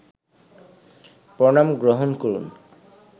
প্রণাম গ্রহণ করুন